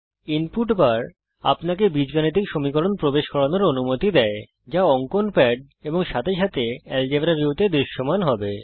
input bar আপনাকে বীজগাণিতিক সমীকরণ প্রবেশ করানোর অনুমতি দেয় যা অঙ্কন প্যাড এবং সাথে সাথে এলজেব্রা ভিউতে দৃশ্যমান হবে